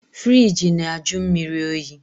Firigi na-ajụ mmiri oyi